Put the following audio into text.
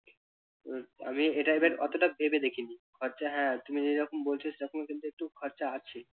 উহ আমি এটা আবার অতটা ভেবে দেখিনি খরচা হ্যাঁ তুমি যেরকম বলছো সেরকমও কিন্তু একটু খরচা আছে।